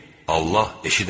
Allah eşidəndir.